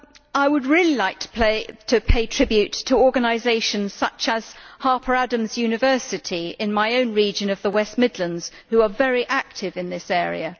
I would like to pay tribute to organisations such as Harper Adams University, in my own region of the West Midlands, which are very active in this area.